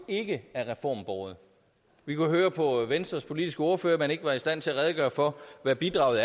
jo ikke er reformbåret vi kunne høre på venstres politiske ordfører at man ikke var i stand til at redegøre for hvad bidraget